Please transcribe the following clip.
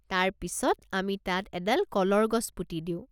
তাৰ পিছত, আমি তাত এডাল কলৰ গছ পুতি দিওঁ।